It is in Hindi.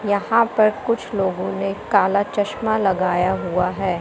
यहां पर कुछ लोगों ने काला चश्मा लगाया हुआ है।